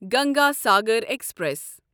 Ganga Sagar express